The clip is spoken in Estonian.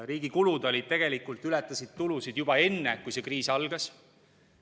Riigi kulud ületasid tulusid juba enne, kui see kriis algas.